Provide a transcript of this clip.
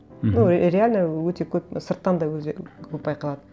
мхм ну реально өте көп сырттан да көп байқалады